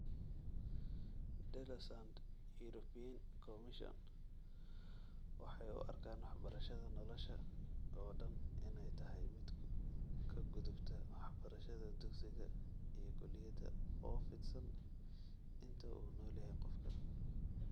Delorsand European Commission waxay u arkaan waxbarashada nolosha oo dhan inay tahay mid ka gudubta waxbarashada dugsiga iyo kulliyadda, oo fidsan inta uu nool yahay qofka.